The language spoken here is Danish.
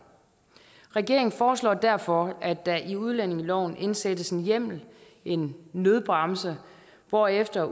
regeringen foreslår derfor at der i udlændingeloven indsættes en hjemmel en nødbremse hvorefter